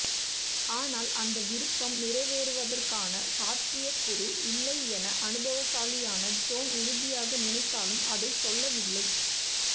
ஆனால் அந்த விரும்பம் நிறைவேறுவதற்கான சாத்தியகூறு இல்லை என அனுபவசாலியான ஜோன் உறுதியாக நினைத்தாலும் அதைச் சொல்லவில்லை